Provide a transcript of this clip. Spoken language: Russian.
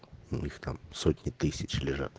ну их там сотни тысяч лежат